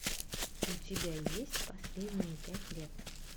у тебя есть последние пять лет